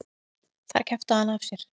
Þar kjaftaði hann af sér.